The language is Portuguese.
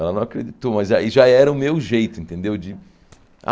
Ela não acreditou, mas aí já era o meu jeito, entendeu? De